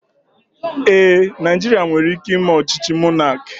Ee, Naijiria nwere ike ime ọchịchị mọnaki